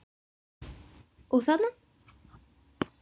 Og þarna?